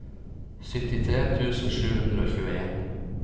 syttitre tusen sju hundre og tjueen